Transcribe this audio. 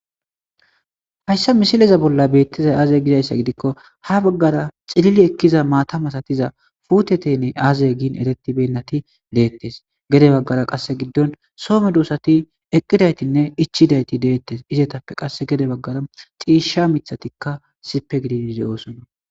hayssa misileza bolla beettizay aaze gizayssa gidikko ha baggara xilili ekkiza maata matatiza futeteynne aazay giin erettibennati deettes gede baggara qasse giddon soome duosati eqqidaytinne ichidayti deettes izetappe qass gede baggara xiishsha mithatikka sipe gidinide oosona